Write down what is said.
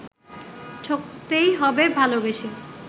ঠকতেই হবে ভালবেসে